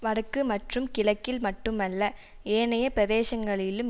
வடக்கு மற்றும் கிழக்கில் மட்டுமல்ல ஏனைய பிரதேசங்களிலும்